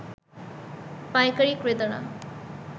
পাইকারী ক্রেতারা